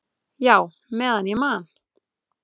"""Já, meðan ég man."""